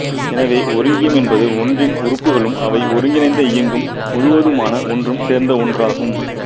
எனவே ஒருங்கியம் என்பது ஒன்றின் உறுப்புகளும் அவை ஒருங்கிணைந்து இயங்கும் முழுவதுமான ஒன்றும் சேர்ந்த ஒன்றாகும்